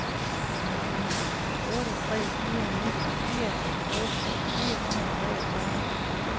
otte tre fire ni fireoghalvtreds fire hundrede og treogfyrre